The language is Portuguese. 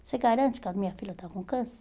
Você garante que a minha filha está com câncer?